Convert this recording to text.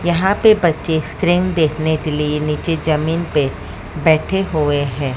यहां पे बच्चे स्क्रीन देखने के लिए नीचे जमीन पे बैठे हुए हैं।